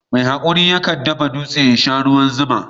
Mai haƙuri yakan dafa dutse ya sha ruwan zuma.